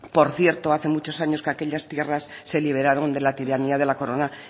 por cierto hace muchos años que aquellas tierras se liberaron de la tiranía de la corona